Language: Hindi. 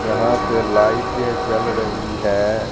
जहां पे लाइटे जल रही है।